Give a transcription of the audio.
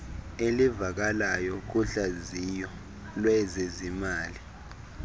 elivakalayo kuhlaziyo lwezezimali